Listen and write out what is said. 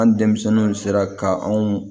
An denmisɛnninw sera ka anw